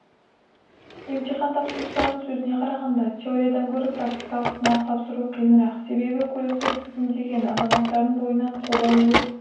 емтихан тапсырушылардың сөзіне қарағанда теориядан көрі практикалық сынақ тапсыру қиынрақ себебі көлікті тізгіндеген азаматтардың бойынан қобалжу